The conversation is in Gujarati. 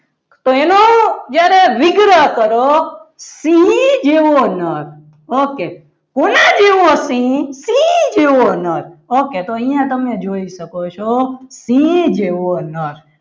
જ્યારે વિગ્રહ કરો સિંહ જેવો નર okay કોના જેઓસિંહ સિંહ ઓકે તો અહીંયા તમે જોઈ શકો છો સિંહ જેવો નર